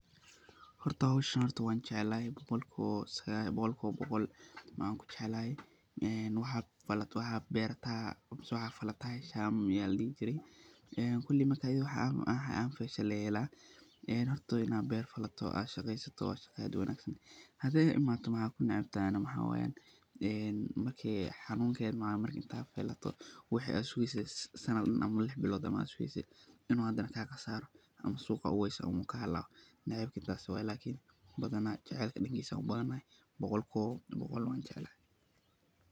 Horta howshan wan jeclahay, een waxad bertaa mise waxaad falataa ledahay, aniga horta aad ayan u jeclahay oo suqa ayan geysanaya markan fasho oo aniga boqolkiba boqol wan jeclahay.